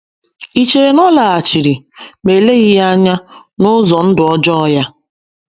Ì chere na ọ laghachiri, ma eleghị anya, n’ụzọ ndụ ọjọọ ya?